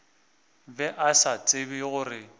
be a sa tsebe gore